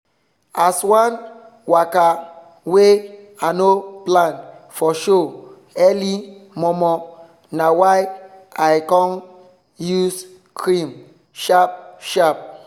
as one waka wey i no plan for show early momo na why i con use cream sharp sharp